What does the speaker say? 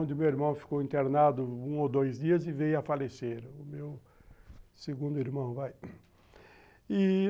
onde meu irmão ficou internado um ou dois dias e veio a falecer, o meu segundo irmão vai e